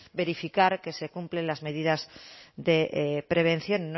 verificar que se cumplen las medidas de prevención